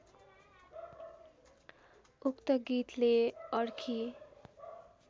उक्त गीतले अर्की